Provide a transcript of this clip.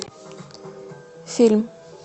фильм